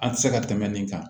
An tɛ se ka tɛmɛ nin kan